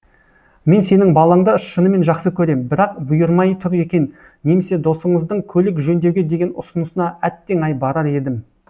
мен сенің балаңды шынымен жақсы көрем бірақ бұйырмай тұр екен немесе досыңыздың көлік жөндеуге деген ұсынысына әттең ай барар едім